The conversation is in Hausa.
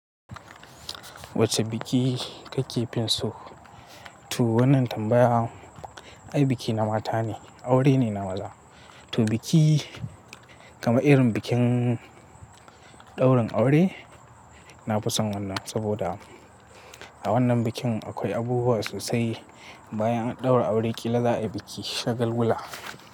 Wacce biki ka ke finsu? To wannan tambaya, ai biki na mata ne, aure ne na maza. To biki, kama irin bikin ɗaurin aure, na fi son wannan saboda a wannan bikin akwai abubuwa sosai. Ba yan an ɗaura aure, ƙila za a yi biki shagulgula.